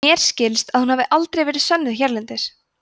mér skilst að hún hafi aldrei verið sönnuð hérlendis